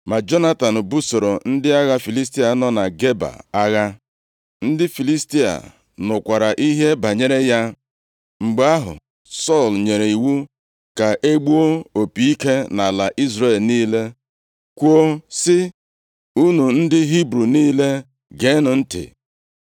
Ma Jonatan busoro ndị agha Filistia nọ na Geba agha. Ndị Filistia nụkwara ihe banyere ya. Mgbe ahụ, Sọl nyere iwu ka e gbuo opi ike nʼala Izrel niile, kwuo sị, “Unu ndị Hibru niile, geenụ ntị.”